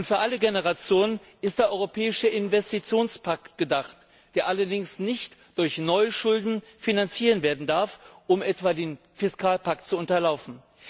Und für alle Generationen ist der europäische Investitionspakt gedacht, der allerdings nicht durch neue Schulden finanziert werden darf, um etwa den Fiskalpakt zu unterlaufen.